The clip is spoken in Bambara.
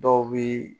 Dɔw bi